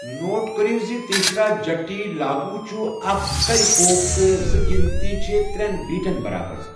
Note کٔرِو زِ تیسرا جٹی لاگو چھُ اکھَ ژَرِ پوٚپ تہٕ زٕ گنتی چھِ ترین بیٹَن برابر۔